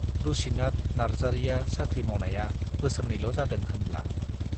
रुसिनाथ नार्जारीया साख्रि मावनाया बोसोरनैल' जादों होनब्ला।